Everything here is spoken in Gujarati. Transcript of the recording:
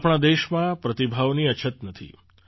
આપણા દેશમાં પ્રતિભાઓની અછત નથી